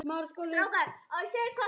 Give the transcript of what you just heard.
Við elskum þig, mín kæra.